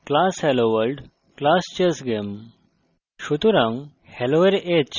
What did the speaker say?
উদাহরণস্বরূপ: class helloworld class chessgame